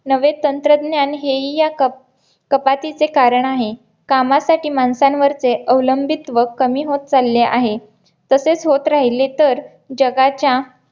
नवे तंत्रज्ञान हे ही या कपातीचे कारण आहे कामासाठी माणसांवरचे अवलंबित्व कमी होत चालले आहे तसेच होत राहिले तर जगाच्या